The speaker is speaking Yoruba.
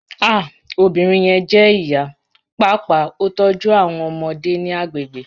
Ah obinrin yẹn jẹ iya, paapaa o tọju awọn ọmọde ni agbegbe